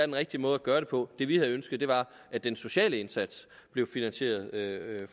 den rigtige måde gøre det på det vi havde ønsket var at den sociale indsats blev finansieret af